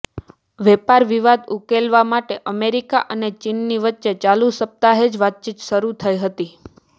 વેપાર વિવાદ ઉકેલવા માટે અમેરિકા અને ચીનની વચ્ચે ચાલુ સપ્તાહે જ વાતચીત શરૂ થઇ હતી